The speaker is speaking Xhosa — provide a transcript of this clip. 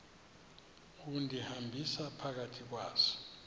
undihambisa phakathi kwazo